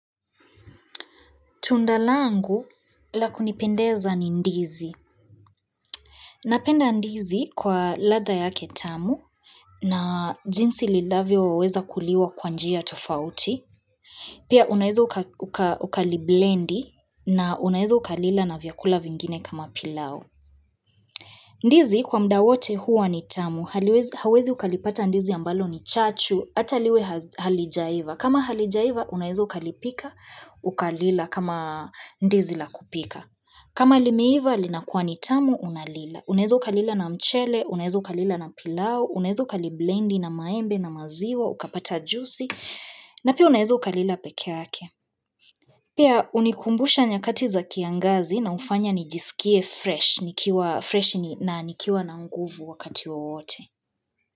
Tunda langu la kunipendeza ni ndizi. Napenda ndizi kwa ladha yake tamu na jinsi lilavyoweza kuliwa kwa njia tofauti. Pia unaeza ukali blendi na unaeza ukalila na vyakula vingine kama pilau. Ndizi kwa muda wote huwa ni tamu, huwezi ukalipata ndizi ambalo ni chachu, ata liwe halijaiva. Kama halijaiva, unaeza ukalipika, ukalila kama ndizi la kupika. Kama limeiva, linakuwa nitamu, unalila. Unaeza ukalila na mchele, unaeza ukalila na pilau, unaeza ukaliblendi na maembe na maziwa, ukapata juisi, na pia unaeza ukalila pekeake. Pia hunikumbusha nyakati za kiangazi na hufanya nijisikie fresh na nikiwa nanguvu wakati wowote.